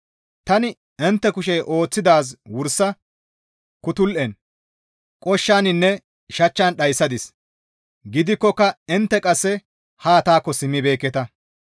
Tani intte kushey ooththidaaz wursa kutul7en, qooshshaninne shachchan dhayssadis; gidikkoka intte qasse ha taakko simmibeekketa.